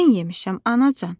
"Mən yemişəm, anacan."